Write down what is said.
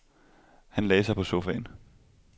Han lagde sig på sofaen.